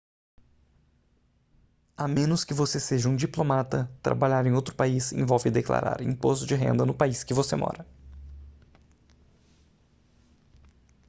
a menos que você seja um diplomata trabalhar em outro país envolve declarar imposto de renda no país que você mora